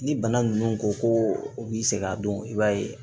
Ni bana ninnu ko ko u b'i sɛgɛn a dɔn i b'a ye